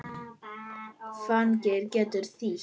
Fanir getur þýtt